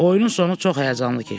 Oyunun sonu çox həyəcanlı keçdi.